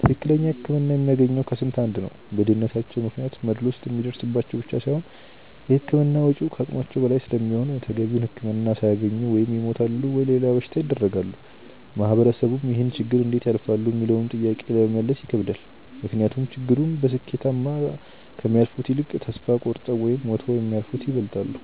ትክክለኛ ህክምና የሚያገኘው ከስንት አንድ ነው። በድህነታቸው ምክንያት መድሎ ስለሚደርስባቸው ብቻ ሳይሆን የህክምና ወጪው ከአቅማቸው በላይ ስለሚሆን ተገቢውን ህክምና ሳያገኙ ወይ ይሞታሉ ወይም ለሌላ በሽታ ይዳረጋሉ። ማህበረሰቡም ይህንን ችግር እንዴት ያልፋሉ ሚለውንም ጥያቄ ለመመለስ ይከብዳል። ምክንያቱም ችግሩን በስኬታማ ከሚያልፉት ይልቅ ተስፋ ቆርጠው ወይም ሞተው የሚያልፉት ይበልጣሉ።